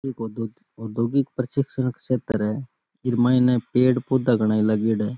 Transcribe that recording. ये तो कोई औद्योगिक प्रशिक्षण क्षेत्र है ईमा इने पेड़ पौधा घणा ही लगाएड़ा है।